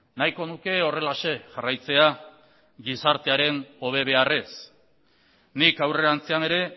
nahiko nuke horrelaxe jarraitzea gizartearen hobe beharrez nik aurrerantzean ere